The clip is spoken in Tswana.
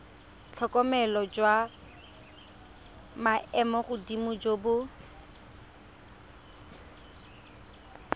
tlhokomelo jwa maemogodimo jo bo